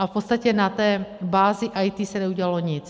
A v podstatě na té bázi IT se neudělalo nic.